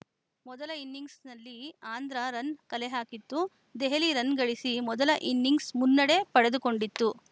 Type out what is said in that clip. ಮೊದಲ ಇನ್ನಿಂಗ್ಸ್‌ನಲ್ಲಿ ಆಂಧ್ರ ರನ್‌ ಕಲೆಹಾಕಿತ್ತು ದೆಹಲಿ ರನ್‌ ಗಳಿಸಿ ಮೊದಲ ಇನ್ನಿಂಗ್ಸ್‌ ಮುನ್ನಡೆ ಪಡೆದುಕೊಂಡಿತ್ತು